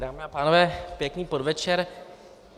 Dámy a pánové, pěkný podvečer.